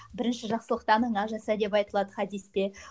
бірінші жақсылықты анаңа жаса деп айтылады хадисте